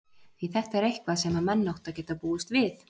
því þetta er eitthvað sem að menn áttu að geta búist við?